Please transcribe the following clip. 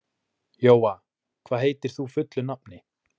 Jóa, hvað heitir þú fullu nafni?